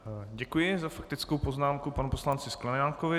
Děkuji za faktickou poznámku panu poslanci Sklenákovi.